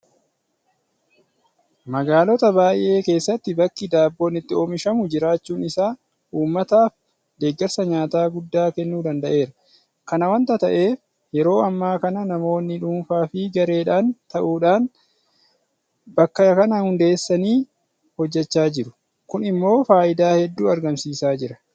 Magaalota baay'ee keessatti bakki Daabboon itti oomishamu jiraachuun isaa uummataaf deeggarsa nyaataa guddaa kennuu danda'eera. Kana waanta ta'eef yeroo ammaa kana namoonni dhuunfaafi gareedhaan ta'uudhaan bakka kana hundeessanii hojjechaa jiru. Kun immoo faayidaa hedduu argamsiisaa jira.